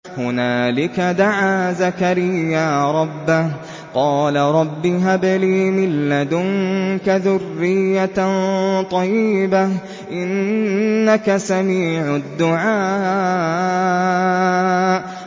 هُنَالِكَ دَعَا زَكَرِيَّا رَبَّهُ ۖ قَالَ رَبِّ هَبْ لِي مِن لَّدُنكَ ذُرِّيَّةً طَيِّبَةً ۖ إِنَّكَ سَمِيعُ الدُّعَاءِ